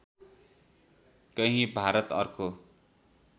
कहीँ भारत अर्को